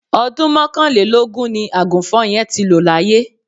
Ọdún mọ́kànlélógún ni Àgùnfọn yẹn ti lọ laye